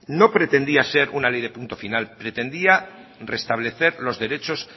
no pretendía ser una ley de punto final pretendía restablecer los derechos